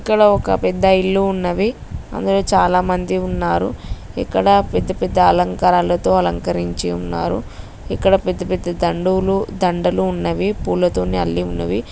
ఇక్కడ ఒకపెద్ద ఇల్లు ఉన్నది. అందులో చాలా మంది ఉన్నారు. అక్కడ పెద్ద పెద్ద అలంకారాలతో అలంకరించి ఉన్నారు. ఇక్కడ పెద్ద పెద్ద దండవులు దండలుఉన్నవి. పూలతోటి అల్లి ఉన్నవి.